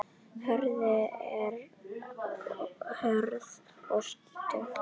Jörðin er hörð og skítug.